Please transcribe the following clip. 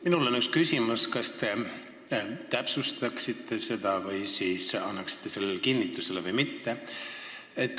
Minul on üks küsimus ja ma palun, et te kas täpsustaksite seda või siis annaksite sellele kinnituse või mitte.